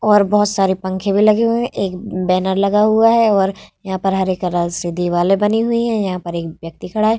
और बहुत सारे पंखे भी लगे हुए है एक बैनर लगा हुआ है और यहां पर हरे कलर से दीवाले बनी हुई है यहाँ पर एक व्यक्ति खड़ा है ।